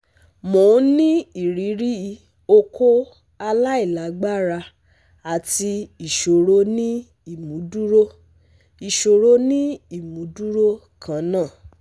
Mo n ni iriri okó alailagbara ati iṣoro ni imuduro iṣoro ni imuduro kanna